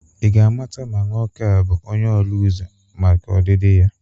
Ị ga-amata ma nwoke a ọ bụ onye ọrụ ụzọ maka ọdịdị ya?